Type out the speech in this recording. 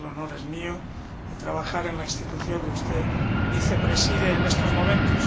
El honor es mío por trabajar en la Institución que usted vicepreside en estos momentos.